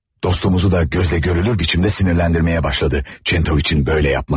Dostumuzu da gözlə görülür biçimdə sinirləndirməyə başladı Çentoviç'in belə yapması.